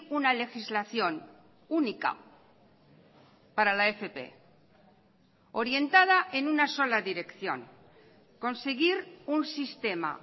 una legislación única para la fp orientada en una sola dirección conseguir un sistema